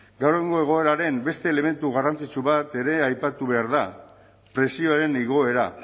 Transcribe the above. gaur egungo egoeraren beste elementu garrantzitsu bat ere aipatu behar da prezioen igoera